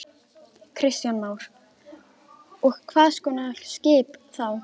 Kristján Már: Og hvað kostar svona skip þá?